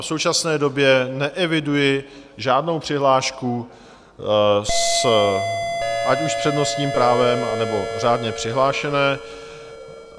V současné době neeviduji žádnou přihlášku, ať už s přednostním právem, anebo řádně přihlášené.